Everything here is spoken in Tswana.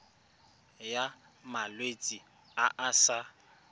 ya malwetse a a sa